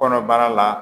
Kɔnɔbara la